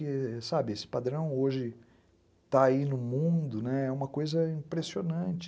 Esse padrão hoje está aí no mundo, né, é uma coisa impressionante.